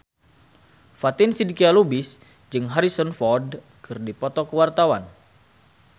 Fatin Shidqia Lubis jeung Harrison Ford keur dipoto ku wartawan